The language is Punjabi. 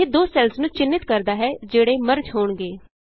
ਇਹ ਦੋ ਸੈੱਲਸ ਨੂੰ ਚਿੰਨ੍ਹਿਤ ਕਰਦਾ ਹੈ ਜਿਹੜੇ ਮਰਜ ਹੋਣਗੇ